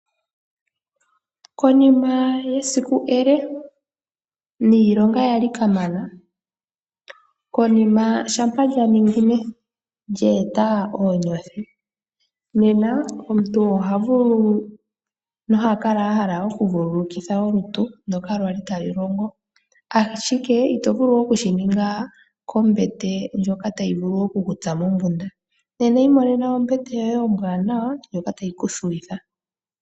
Konima yesiku ele niilonga ya li kamana, konima shampa lya ninginine lye eta oonyothi, nena omuntu oha vulu noha kala a hala okuvululukitha olutu ndoka lwa li talu longo, ashike ito vulu okushi ninga kombete ndjota tayi vulu oku ku tsa mombunda. Nena imonena ombete yoye ombwaanawa ndjoka tayi ku thuwitha.